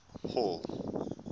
hall